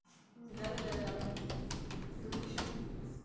да-да да да ну-ка ещё